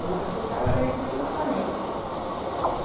vida social era entre os parentes.